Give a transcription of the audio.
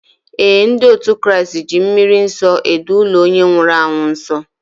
Ee, ndị otu Kraịst ji mmri nsọ edo ụlọ onye nwụrụ anwụ nsọ